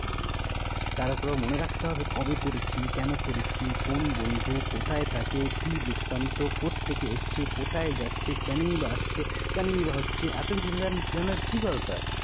তার উপরে মনে রাখতে হবে কবে করেছি? কেন করেছি? কোন বন্ধু কোথায় থাকে কি বৃত্তান্ত? কোত্থেকে এসেছে? কোথায় যাচ্ছে? কেনই বা এসেছে? কেনই বা হচ্ছে? এতকিছু জানার কি দরকার?